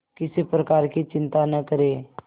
किसी प्रकार की चिंता न करें